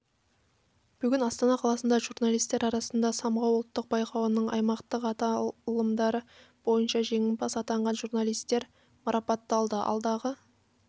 бүгін астана қаласында журналистер арасындағы самғау ұлттық байқауының аймақтық аталымдары бойынша жеңімпаз атанған журналистер марапатталды алдағы